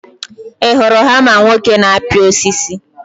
ị hụrụ hama nwoke na-apị osisi?